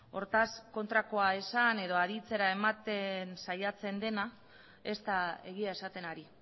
hortaz kontrakoa esan edo aditzera ematen saiatzen dena ez da egia esaten ari